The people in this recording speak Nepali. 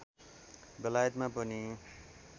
बेलायतमा पनि